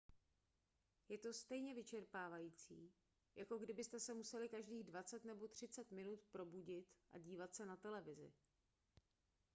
je to stejně vyčerpávající jako kdybyste se museli každých dvacet nebo třicet minut probudit a dívat se na televizi